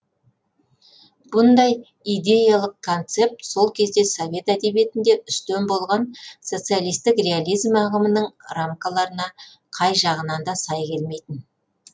бұндай идеялық концепт сол кезде совет әдебиетінде үстем болған социалистік реализм ағымының рамкаларына қай жағынан да сай келмейтін